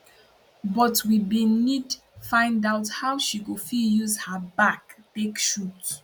but we bin need find out how she go fit use her back take shoot